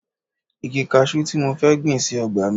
Igi kaṣú ló tí mo fẹ́ gbìn sí ọgbà mi